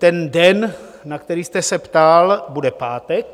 Ten den, na který jste se ptal, bude pátek.